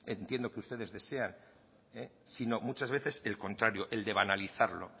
que entiendo que ustedes desean sino muchas veces el contrario el de banalizarlo